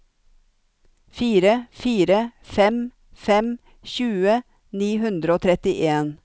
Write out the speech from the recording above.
fire fire fem fem tjue ni hundre og trettien